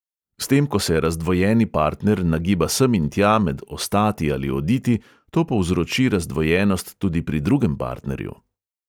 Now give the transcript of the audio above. S tem ko se razdvojeni partner nagiba sem in tja med ostati ali oditi, to povzroči razdvojenost tudi pri drugem partnerju.